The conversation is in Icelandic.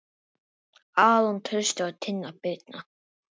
Aron Trausti og Tinna Birna.